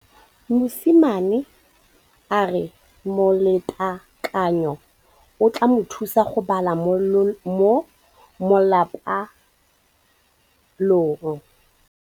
Mosimane a re molatekanyô o tla mo thusa go bala mo molapalong.